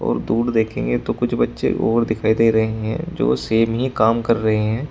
और दूर देखेंगे तो कुछ बच्चे और दिखाई दे रहे हैं जो सेम ही काम कर रहे हैं।